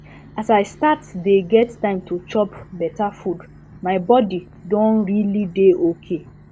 as i start dye get time to dey chop better food my body don realy dey okay